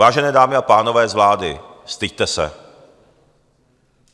Vážené dámy a pánové z vlády, styďte se!